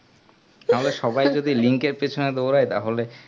আমরা সবাই যদি link এর পেছনে দৌড়াই তাহলে